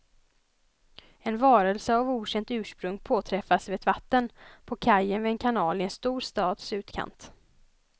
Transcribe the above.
En varelse av okänt ursprung påträffas vid ett vatten, på kajen vid en kanal i en stor stads utkant.